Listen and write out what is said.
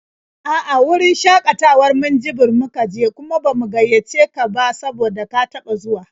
A'a, wurin shakatawar Minjibir muka je, kuma ba mu gaiyace ka ba saboda ka taɓa zuwa.